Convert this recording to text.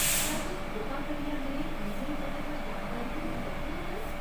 क्या तुस कृपा करियै मेरे ईमेल पते पर जानकारी भेजी सकदे ओ, सर?